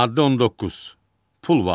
Maddə 19, Pul vahidi.